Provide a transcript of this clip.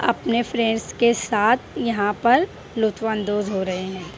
अपने फ्रेंड्स के साथ यहां पर हो रहे--